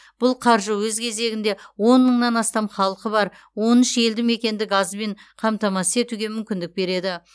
бұл қаржы өз кезегінде он мыңнан астам халқы бар он үш елді мекенді газбен қамтамасыз етуге мүмкіндік береді